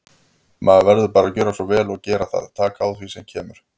Maður verður bara að gjöra svo vel og gera það, taka á því sem kemur.